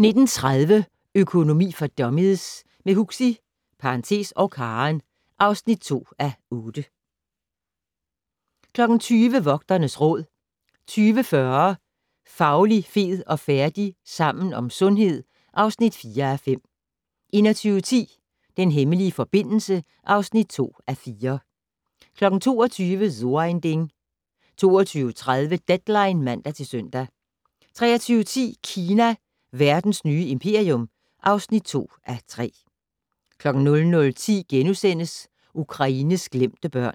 19:30: Økonomi for dummies - med Huxi (og Karen) (2:8) 20:00: Vogternes Råd 20:40: Fauli, fed og færdig? - Sammen om sundhed (4:5) 21:10: Den hemmelige forbindelse (2:4) 22:00: So ein Ding 22:30: Deadline (man-søn) 23:10: Kina - verdens nye imperium (2:3) 00:10: Ukraines glemte børn